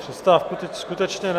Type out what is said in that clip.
Přestávku teď skutečně ne.